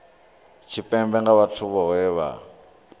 tshipembe nga vhathu vhohe vha